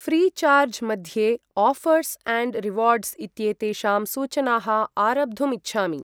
Freecharge मध्ये offers and rewards इत्येतेषां सूचनाः आरब्धुम् इच्छामि।